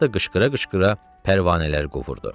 gah da qışqıra-qışqıra pərvanələr qovurdu.